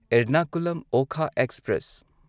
Ernakulam Okha express